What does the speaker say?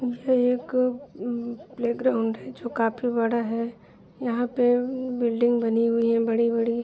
भैया एक ऊँ प्लेग्राउंड है जो काफी बड़ा है यहाँ पे बिल्डिंग बनी हुई है बड़ी -बड़ी।